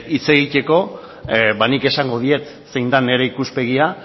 hitz egiteko nik esango diet zein den nire ikuspegia